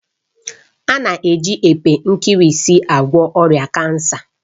A na-eji epe nkirisi agwọ ọrịa kansa